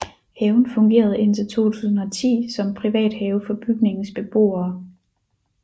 Haven fungerede indtil 2010 som privat have for bygningens beboere